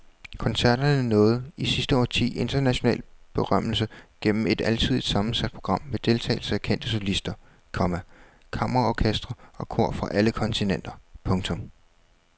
Koncerterne nåede i sidste årti international berømmelse gennem et alsidigt sammensat program med deltagelse af kendte solister, komma kammerorkestre og kor fra alle kontinenter. punktum